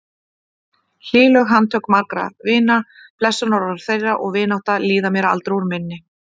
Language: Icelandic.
Hlýleg handtök margra vina, blessunarorð þeirra og vinátta, líða mér aldrei úr minni.